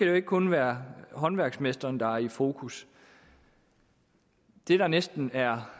jo ikke kun være håndværksmesteren der er i fokus det der næsten er